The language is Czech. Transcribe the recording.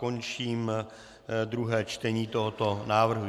Končím druhé čtení tohoto návrhu.